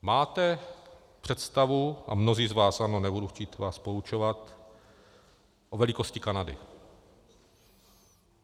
Máte představu, a mnozí z vás ano, nebudu chtít vás poučovat, o velikosti Kanady.